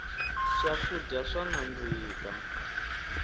swakudya swa nandzika